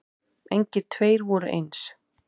Engir tveir voru eins.